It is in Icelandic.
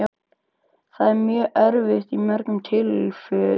Það er mjög erfitt í mörgum tilfellum.